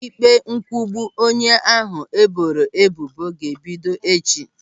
Ịkpe nkwugbu onye ahụ e boro ebubo ga-ebido echi.